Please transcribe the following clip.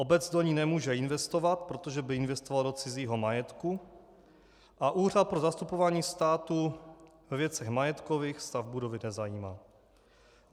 Obec do ní nemůže investovat, protože by investovala do cizího majetku, a Úřad pro zastupování státu ve věcech majetkových stav budovy nezajímá.